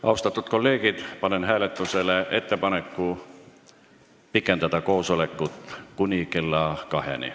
Austatud kolleegid, panen hääletusele ettepaneku pikendada koosolekut kuni kella kaheni.